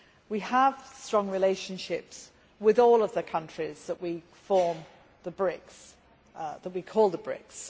We have strong relationships with all the countries that we call the BRICS.